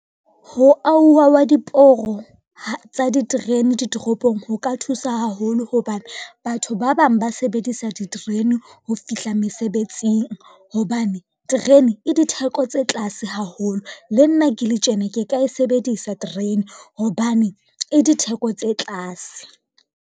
Ho auwa hwa diporo tsa diterene ditoropong ho ka thusa haholo hobane, batho ba bang ba sebedisa diterene ho fihla mesebetsing. Hobane terene e ditheko tse tlase haholo, le nna ke le tjena ke ka e sebedisa terene hobane e ditheko tse tlase.